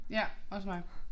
Ja. Også mig